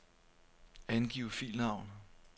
Angiv filnavn.